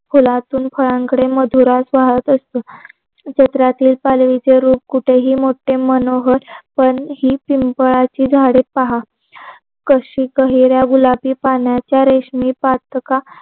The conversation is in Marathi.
फुलांपासून फळांकडे मधुरास वाहत असतो पालवीचे रूप कुठेही मोठे मनोहर पण ही पिंपळाची झाडे पहा कशी हिरव्या गुलाबी पानाची रेशमी पातका